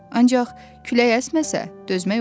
Ancaq külək əsməsə, dözmək olur.